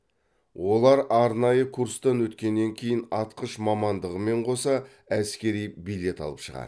олар арнайы курстан өткеннен кейін атқыш мамандығымен қоса әскери билет алып шығады